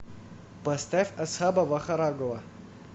поставь асхаба вахарагова